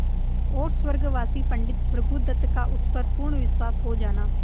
और स्वर्गवासी पंडित भृगुदत्त का उस पर पूर्ण विश्वास हो जाना